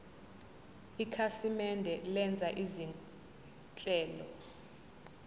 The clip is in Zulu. ikhasimende lenza izinhlelo